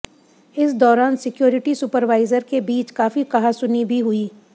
इस दौरान security supervisor के बीच काफी कहासुनी भी हुई